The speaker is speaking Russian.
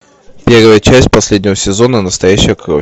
первая часть последнего сезона настоящая кровь